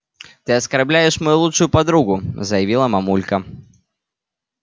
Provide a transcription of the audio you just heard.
ты оскорбляешь мою лучшую подругу заявила мамулька